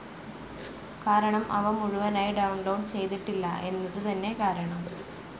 കാരണം അവ മുഴുവനായി ഡൌൺ ലോഡ്‌ ചെയ്തിട്ടില്ല എന്നതു തന്നെ കാരണം.